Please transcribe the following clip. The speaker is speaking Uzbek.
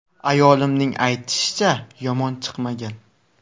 Ayolimning aytishicha, yomon chiqmagan.